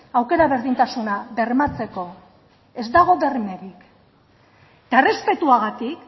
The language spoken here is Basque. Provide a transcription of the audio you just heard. aukera berdintasuna bermatzeko ez dago bermerik eta errespetuagatik